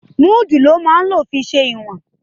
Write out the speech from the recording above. Múdù ló máa ń fi ṣe ìwọ̀n